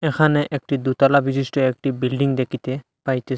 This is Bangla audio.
এখানে একটি দোতালা বিশিষ্ট একটি বিল্ডিং দেখিতে পাইতেস।